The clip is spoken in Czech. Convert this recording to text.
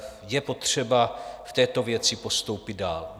Je potřeba v této věci postoupit dál.